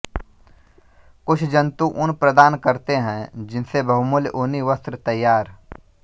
कुछ जंतु ऊन प्रदान करते हैं जिनसे बहुमूल्य ऊनी वस्त्र तैयार